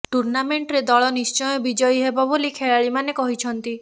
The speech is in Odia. ଟୁର୍ଣାମେଣ୍ଟରେ ଦଳ ନିଶ୍ଚୟ ବିଜୟୀ ହେବ ବୋଲି ଖେଳାଳିମାନେ କହିଛନ୍ତି